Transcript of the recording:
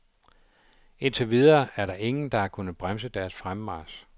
Indtil videre er der ingen, der har kunnet bremse deres fremmarch.